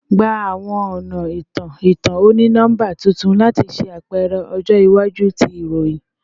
Gba awọn ọna itan-itan oni-nọmba tuntun lati ṣe apẹrẹ ọjọ iwaju ti iroyin